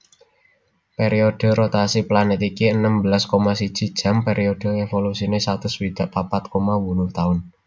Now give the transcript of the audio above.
Periode rotasi planet iki enem belas koma siji jam periode evolusine satus swidak papat koma wolu taun